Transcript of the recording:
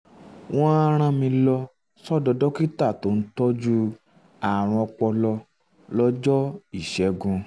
wọ́n á rán mi lọ um sọ́dọ̀ dókítà tó ń tọ́jú ààrùn ọpọlọ lọ́jọ́ ìṣẹ́gun